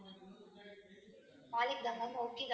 நாளைக்குதான் ma'am okay